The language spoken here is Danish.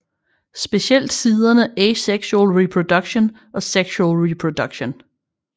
Specielt siderne Asexual Reproduction og Sexual Reproduction